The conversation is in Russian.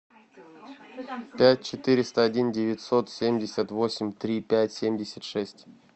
пять четыреста один девятьсот семьдесят восемь три пять семьдесят шесть